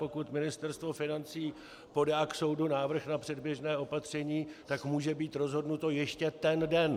Pokud Ministerstvo financí podá k soudu návrh na předběžné opatření, tak může být rozhodnuto ještě ten den.